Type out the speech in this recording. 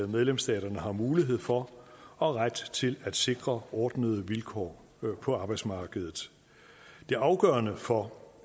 medlemsstaterne har mulighed for og ret til at sikre ordnede vilkår på arbejdsmarkedet det afgørende for